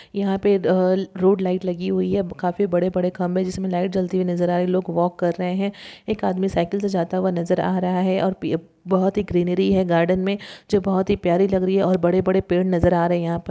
यहाँ पे the road light लगी हुई है काफी बड़े बड़े खम्बे जिसमे लाइट जलती हुई नजर आ रही है लोग वाक कर रहे है एक आदमी साइकिल से जाता हुआ नजर आ रहा है और बोहोत ही ग्रीनरी है गार्डन में जो बोहोत ही प्यारी लग रही है और बड़े बड़े पेड़ नजर आ रहे है यहां पर।